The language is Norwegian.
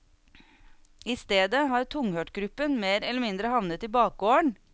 I stedet har tunghørtgruppen mer eller mindre havnet i bakgården.